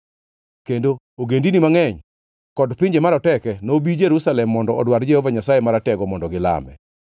Kendo ogendini mangʼeny kod pinje maroteke nobi Jerusalem mondo odwar Jehova Nyasaye Maratego mondo gilame.”